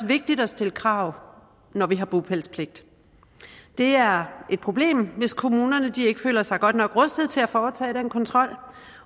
vigtigt at stille krav når vi har bopælspligt det er et problem hvis kommunerne ikke føler sig godt nok rustet til at foretage den kontrol